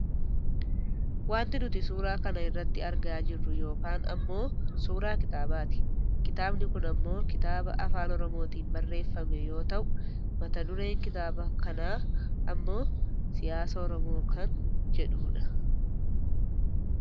wanti nuti suuraa kana irratti argaa jirru kyn ammoo suuraa kitaabaati. kitaabni kun ammoo kitaaba afaan oromootiin barreeffame yoo ta'u mata dureen kitaaba kaa ammoo " siyaasa Oromoo " kan jedhudha.